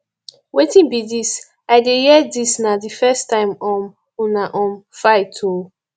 wetin be dis i dey hear dis na the first time um una um fight oo